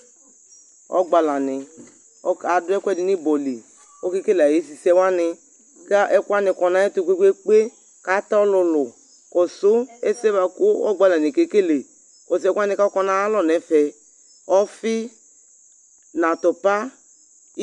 Ɔgbalanɩ ɔkadʋ ɛkʋɛdɩ n'ɩbɔ li :okekele ay'esisɛwanɩ ; ƙɛ ɛkʋwanɩ kɔ n'ayɛtʋ kpekpekpe, k'at'ɔlʋlʋ Kɔsʋ ɛsɛ bʋa kʋ ɔgbalanɩɛ kekele , kɔsʋ ɛkʋwanɩ k'ɔkɔ n'ayaiɔ n'ɛfɛ : ɔfɩ n 'atʋpa